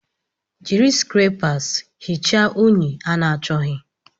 Jiri skrepas hichaa unyi a na-achọghị.